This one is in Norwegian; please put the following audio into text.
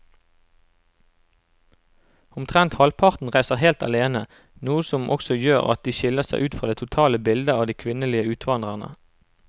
Omtrent halvparten reiser helt alene, noe som også gjør at de skiller seg ut fra det totale bildet av de kvinnelige utvandrerne.